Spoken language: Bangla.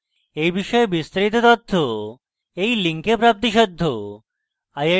এই বিষয়ে বিস্তারিত তথ্য এই link প্রাপ্তিসাধ্য